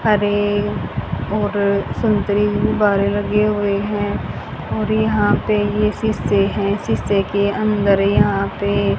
हरे और संतरी गुब्बारे लगे हुए हैं और यहां पे ये शीशे हैं शीशे के अंदर यहां पे --